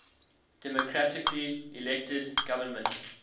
democratically elected government